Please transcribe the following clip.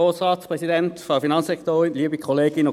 Kommissionssprecher der FiKo-Minderheit.